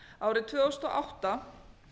árið tvö þúsund og átta